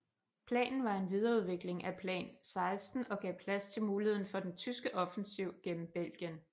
Planen var en videreudvikling af Plan XVI og gav plads til muligheden af en tyske offensiv gennem Belgien